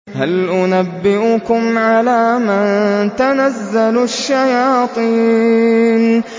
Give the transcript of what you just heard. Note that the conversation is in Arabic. هَلْ أُنَبِّئُكُمْ عَلَىٰ مَن تَنَزَّلُ الشَّيَاطِينُ